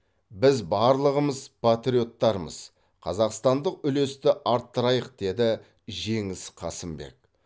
біз барлығымыз патриоттармыз қазақстандық үлесті арттырайық деді жеңіс қасымбек